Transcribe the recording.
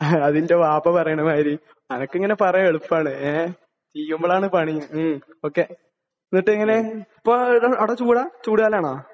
എടാ നിന്റെ വാപ്പ പറയുന്ന മാതിരി. നിനക്കിങ്ങനെ പറയാൻ എളുപ്പമാണ്. ഏഹ്? ചെയ്യുമ്പോഴാണ് പണി. മ്മ്. ഓക്കേ. എന്നിട്ട് എങ്ങനെയാണ്. ഇപ്പോൾ എന്താണ്? അവിടെ ചൂടാണ്? ചൂട് തന്നെയാണോ?